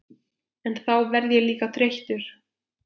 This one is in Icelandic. En þá verð ég líka þreyttur.